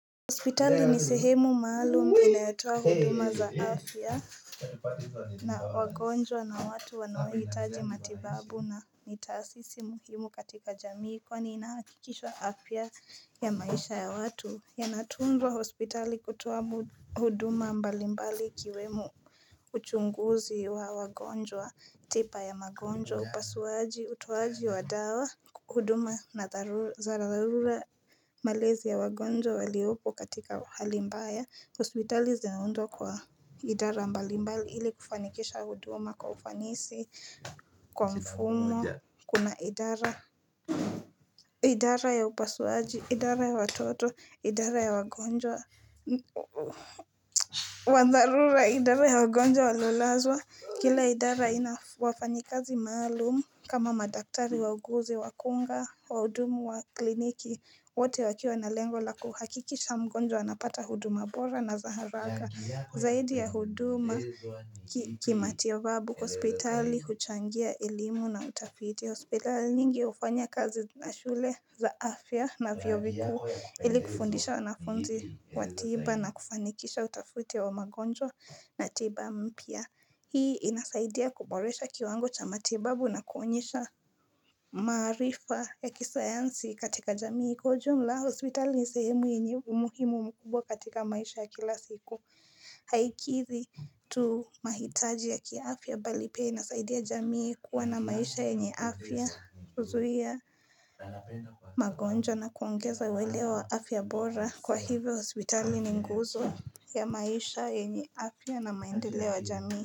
Hospitali ni sehemu maalum inayotoa huduma za afya na wagonjwa na watu wanaoitaji matibabu na mitaasisi muhimu katika jamii kwani inahakikisha afya ya maisha ya watu yanatunzwa hospitali kutoa huduma mbalimbali ikiwemo uchunguzi wa wagonjwa, tipa ya wagonjwa, upasuaji, utoaji wa dawa, huduma na za dharura malezi ya wagonjwa waliopo katika hali mbaya, hospitali zinaundwa kwa idara mbalimbali ili kufanikisha huduma kwa ufanisi kwa mfumo, kuna idara ya upasuaji, idara ya watoto, idara ya wagonjwa wa dharura idara ya wagonjwa waloilazwa. Kila idara ina wafanyikazi maalumu kama madaktari wauguzi, wakunga, waudumu wa kliniki. Wote wakiwa na lengo la kuhakikisha mgonjwa anapata huduma bora na za haraka zaidi ya huduma kima tibabu hospitali, huchangia elimu na utafiti. Hospital nyingi hufanya kazi na shule za afya na vioo vikuu ili kufundisha wanafunzi wa tiba na kufanikisha utafuti wa magonjwa na tiba mpya. Hii inasaidia kuboresha kiwango cha matibabu na kuonyesha maarifa ya kisayansi katika jamii. Kwa ujumla hospital ni sehemu yenye umuhimu mkubwa katika maisha ya kila siku. Haikizi tu mahitaji ya kiafya bali pia inasaidia jamii kuwa na maisha yenye afya. Uzuhia magonjwa na kuongeza uwelewa wa afya bora kwa hivyo hospitali ni nguzo ya maisha yenye afya na maendeleo ya jamii.